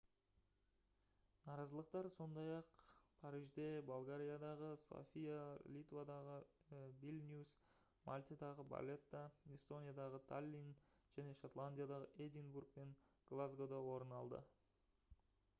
наразылықтар сондай-ақ парижде болгариядағы софия литвадағы вильнюс мальтадағы валетта эстониядағы таллин және шотландиядағы эдинбург пен глазгода орын алды